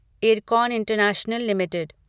IRCON international limited